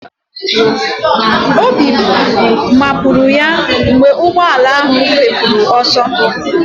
Obi mapụrụ ya mgbe ụgbọala ahụ fepụrụ ọsọ